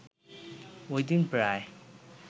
ওইদিন প্রায়